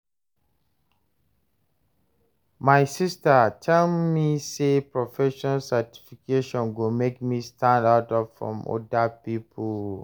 My sista tell me sey professional certification go make me stand out from oda pipo.